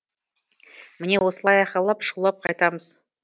міне осылай айқайлап шулап қайтамыз